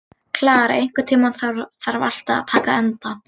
Klara, einhvern tímann þarf allt að taka enda.